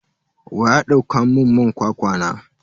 Waya dauka mun man kwakwa na?